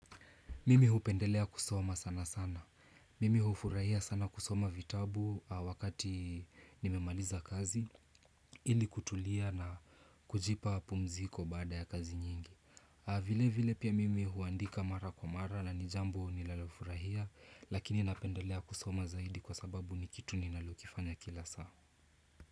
Mimi hupendelea kusoma sana sana. Mimi hufurahia sana kusoma vitabu wakati nimemaliza kazi ili kutulia na kujipa pumziko baada ya kazi nyingi. Vile vile pia mimi huandika mara kwa mara na ni jambo ninalofurahia lakini napendelea kusoma zaidi kwa sababu ni kitu ninalokifanya kila saa.